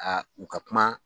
u ka kuma